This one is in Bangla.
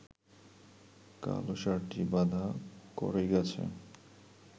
কালো ষাঁড়টি বাঁধা কড়ইগাছে